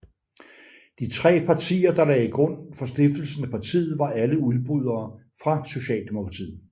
De tre partier der lagde grund for stiftelsen af partiet var alle udbrydere fra Socialdemokratiet